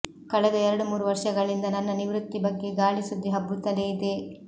ಕಳೆದ ಎರಡು ಮೂರು ವರ್ಷಗಳಿಂದ ನನ್ನ ನಿವೃತ್ತಿ ಬಗ್ಗೆ ಗಾಳಿ ಸುದ್ದಿ ಹಬ್ಬುತ್ತಲೇ ಇದೆ